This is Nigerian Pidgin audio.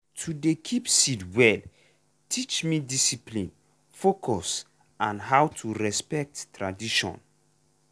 to dey keep seed well teach me discipline focus and how to respect tradition.